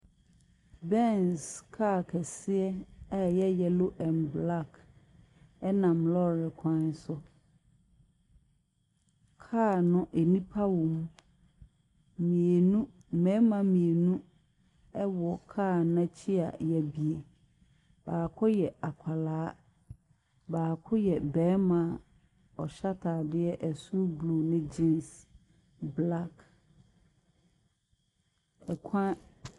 Bens car kɛseɛ a ɛyɛ yellow and black nam lɔɔre kwan so. Car no, nnipa wɔ mu. Mmienu mmarima mmienuwɔ car no n'akyi a yɛabue. Baako yɛ barima. Ɔhyɛ ataadeɛ soro blue ne gens aseɛ black. Ɛkwan .